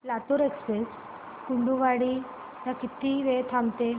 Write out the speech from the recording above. Latur express Kurduwadi ला किती वेळ थांबते